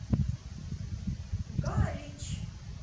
галич